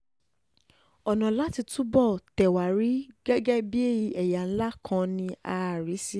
ọ̀nà láti túbọ̀ tẹ̀ wá rí gẹ́gẹ́ bíi ẹ̀yà ńlá kan ni a rí i sí